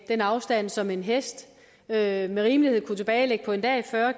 den afstand som en hest med rimelighed kunne tilbagelægge på en dag fyrre